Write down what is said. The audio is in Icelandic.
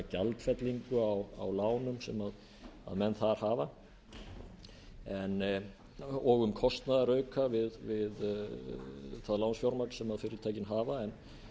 gjaldfellingu á lánum sem menn þar hafa og um og um kostnaðarauka við það lánsfjármagn sem fyrirtækin hafa en